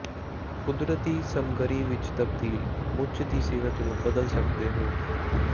ਕੁਦਰਤੀ ਸਮੱਗਰੀ ਵਿੱਚ ਤਬਦੀਲ ਮੁੱਚ ਦੀ ਸਿਹਤ ਨੂੰ ਬਦਲ ਸਕਦੇ ਹੋ